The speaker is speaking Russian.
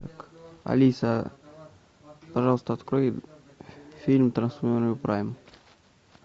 алиса пожалуйста открой фильм трансформеры прайм